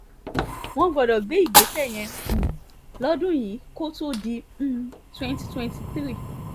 wọ́n gbọ́dọ̀ gbé ìgbésẹ̀ yẹn um lọ́dún yìí kó tóó di um twenty twenty three